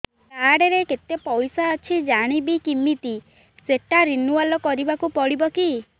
card ରେ କେତେ ପଇସା ଅଛି ଜାଣିବି କିମିତି ସେଟା ରିନୁଆଲ କରିବାକୁ ପଡ଼ିବ କି